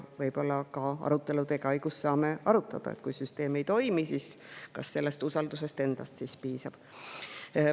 Võib-olla saame arutelude käigus arutada, et kui süsteem ei toimi, siis kas usaldusest endast piisab.